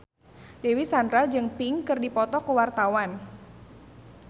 Dewi Sandra jeung Pink keur dipoto ku wartawan